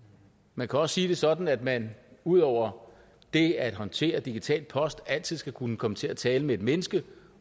man kan også sige det sådan at man ud over det at håndtere digital post altid skal kunne komme til at tale med et menneske